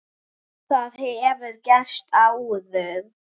Það hefur gerst áður.